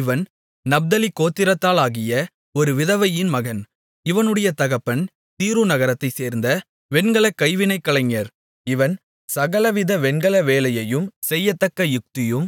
இவன் நப்தலி கோத்திரத்தாளாகிய ஒரு விதவையின் மகன் இவனுடைய தகப்பன் தீரு நகரத்தைச் சேர்ந்த வெண்கல கைவினை கலைஞர் இவன் சகலவித வெண்கல வேலையையும் செய்யத்தக்க யுக்தியும்